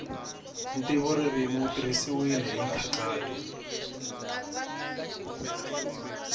ntivoririmi wu tirhisiwile hi nkhaqato